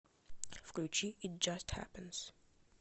включи ит джаст хэппэнс